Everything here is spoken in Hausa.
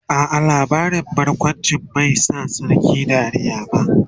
a'a labarin barkawncin bai Sa sarkin Dariya ba